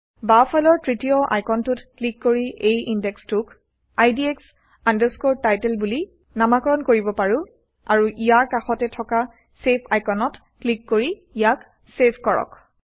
বাওঁফালৰ তৃতীয় আইকনটোত ক্লিক কৰি এই ইনডেক্সটোক IDX Title বুলি নামাকৰণ কৰিব পাৰো আৰু ইয়াৰ কাষতে থকা চেভ আইকনত ক্লিক কৰি ইয়াক চেভ কৰক